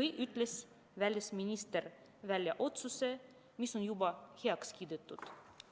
või ütles välisminister välja otsuse, mis on juba heaks kiidetud.